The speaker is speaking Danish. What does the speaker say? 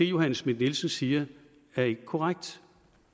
johanne schmidt nielsen siger er ikke korrekt